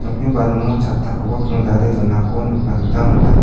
ia balimo chattakoba kingdale donako nikna gita man·a.